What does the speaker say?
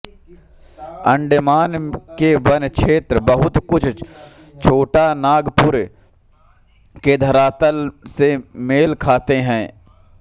अण्डेमान के वन क्षेत्र बहुत कुछ छोटानागपुर के धरातल से मेल खाते हैं